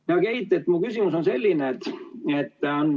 Hea Keit, mu küsimus on selline.